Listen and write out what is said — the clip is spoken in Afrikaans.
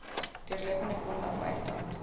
deurlopende kontak bystand